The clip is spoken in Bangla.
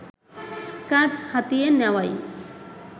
কাজ হাতিয়ে নেওয়াই